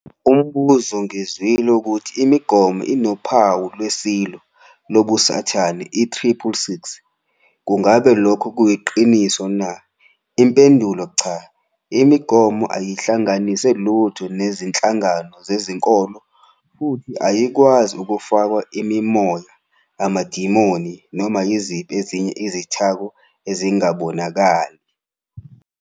Umbuzo- Ngizwile ukuthi imigomo inophawu lweSilo, lobuSathane, - i-666. Ngakube lokhu kuyiqiniso na? Impendulo- Cha. Imigomo ayihlanganise lutho nezinhlangano zezinkolo futhi ayikwazi ukufakwa imimoya, amadimoni noma yiziphi ezinye izithako ezingabonakali.